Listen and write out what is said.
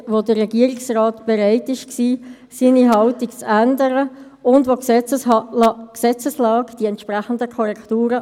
Ich übergebe dann gerade an den Vizepräsidenten, weil wir betreffend VA/AFP gleich noch kurz etwas besprechen müssen.